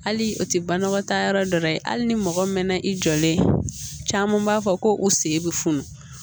Hali o tɛ banakɔtaa yɔrɔ dɔ la ye hali ni mɔgɔ mɛna i jɔlen caman b'a fɔ ko u sen bɛ funu